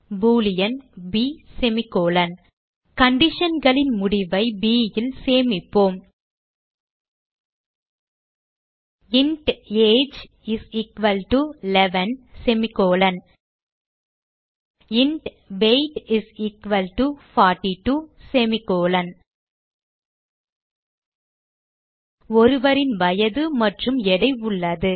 Boolean ப் conditionகளின் முடிவை b ல் சேமிப்போம் int age is equal to 11 int weight is equal to 42 ஒருவரின் வயது மற்றும் எடை உள்ளது